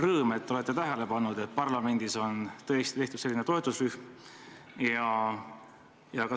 Rõõm, et olete tähele pannud, et parlamendis on tõesti tehtud selline toetusrühm.